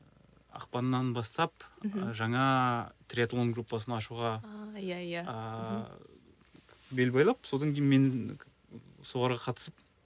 ыыы ақпаннан бастап мхм жаңа триатлон группасын ашуға а иә иә ыыы бел байлап содан кейін мен соларға қатысып